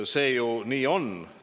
See ju on nii!